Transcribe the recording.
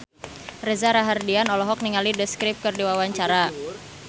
Reza Rahardian olohok ningali The Script keur diwawancara